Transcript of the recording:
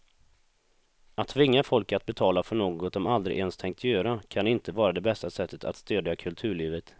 Att tvinga folk att betala för något de aldrig ens tänkt göra kan inte vara det bästa sättet att stödja kulturlivet.